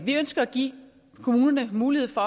vi ønsker at give kommunerne mulighed for